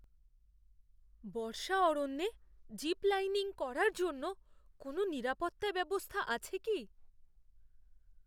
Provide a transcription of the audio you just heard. বর্ষা অরণ্যে zip lining করার জন্য কোনো নিরাপত্তা ব্যবস্থা আছে কি?